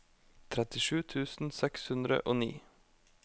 trettisju tusen seks hundre og ni